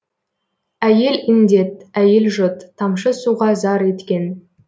әйел індет әйел жұт тамшы суға зар еткен